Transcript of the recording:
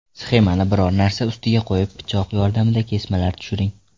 Sxemani biron narsa ustiga qo‘yib, pichoq yordamida kesmalar tushiring.